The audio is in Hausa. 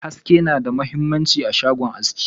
haske ma da mahimmanci a shagon haski.